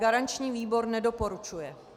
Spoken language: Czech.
Garanční výbor nedoporučuje.